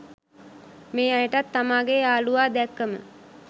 මේ අයටත් තමාගේ යාළුවා දැක්කම